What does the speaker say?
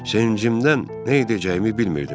Sevincimdən nə edəcəyimi bilmirdim.